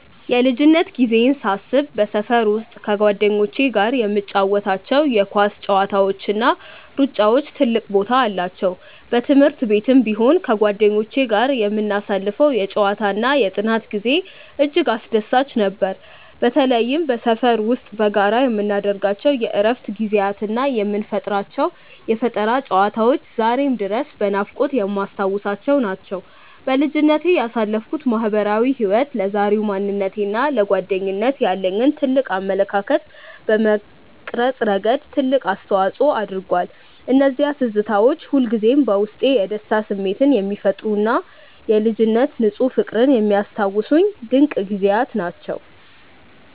የልጅነት ጊዜዬን ሳስብ በሰፈር ውስጥ ከጓደኞቼ ጋር የምንጫወታቸው የኳስ ጨዋታዎችና ሩጫዎች ትልቅ ቦታ አላቸው። በትምህርት ቤትም ቢሆን ከጓደኞቼ ጋር የምናሳልፈው የጨዋታና የጥናት ጊዜ እጅግ አስደሳች ነበር። በተለይም በሰፈር ውስጥ በጋራ የምናደርጋቸው የእረፍት ጊዜያትና የምንፈጥራቸው የፈጠራ ጨዋታዎች ዛሬም ድረስ በናፍቆት የማስታውሳቸው ናቸው። በልጅነቴ ያሳለፍኩት ማህበራዊ ህይወት ለዛሬው ማንነቴና ለጓደኝነት ያለኝን አመለካከት በመቅረጽ ረገድ ትልቅ አስተዋጽኦ አድርጓል። እነዚያ ትዝታዎች ሁልጊዜም በውስጤ የደስታ ስሜት የሚፈጥሩና የልጅነት ንፁህ ፍቅርን የሚያስታውሱኝ ድንቅ ጊዜያት ናቸው።